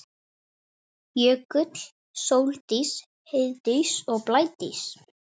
Jökull, Sóldís, Heiðdís og Blædís.